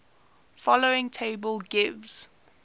following table gives